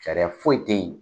Sariya foyi tɛ yen.